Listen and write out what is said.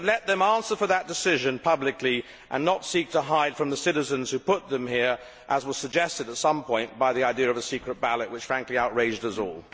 But let them answer for that decision publicly and not seek to hide from the citizens who put them here, as it was suggested that they do with the idea of a secret ballot which, frankly, outraged us all.